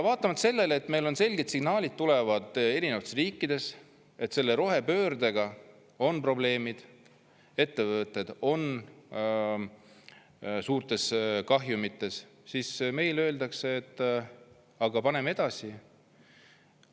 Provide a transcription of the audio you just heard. Vaatamata sellele, et meile selged signaalid tulevad erinevatest riikidest, et selle rohepöördega on probleemid, ettevõtted on suurtes kahjumites, meile öeldakse, et aga paneme edasi.